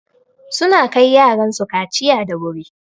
Suna kai yaran su kaciya da wuri.